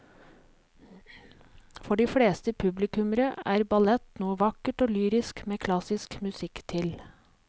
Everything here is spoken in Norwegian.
For de fleste publikummere er ballett noe vakkert og lyrisk med klassisk musikk til.